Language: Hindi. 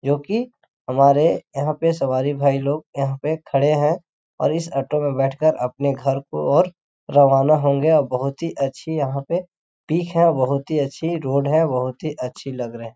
जोकि हमारे यहाँ पे सवारी भाई लोग यहाँ पे खड़े है और इस औटो में बैठ कर अपने घर को और रवाना होगे बहुत ही अच्छी यहाँ पे पिक है बहुत ही अच्छी रोड है बहुत ही अच्छी लग रही है।